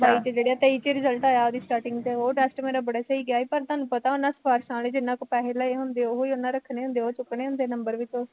ਬਾਈ ਚ ਜਿਹੜਾਂ ਤੇਈ ਚ result ਆਇਆ ਉਹਦੀ starting ਚ ਉਹ test ਮੇਰਾ ਬੜਾ ਸਹੀ ਗਿਆ ਸੀ, ਪਰ ਤੁਹਾਨੂੰ ਪਤਾ ਉਹਨਾ ਸਿਫਾਰਿਸ਼ਾਂ ਵਾਲੇ ਜਿੰਨਾ ਕੋਲੋਂ ਪੈਸੇ ਲਏ ਹੁੰਦੇ ਆ, ਉਹੀ ਉਹਨਾ ਰੱਖਣੇ ਹੁੰਦੇ ਹੈ ਉਹ ਚੁੱਕਣੇ ਹੁੰਦੇ ਆ number ਵਿੱਚੋਂ